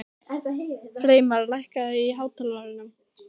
Freymar, lækkaðu í hátalaranum.